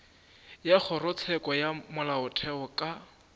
wa kgorotsheko ya molaotheo ka